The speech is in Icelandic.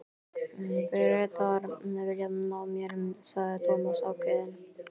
Bretar vilja ná mér sagði Thomas ákveðinn.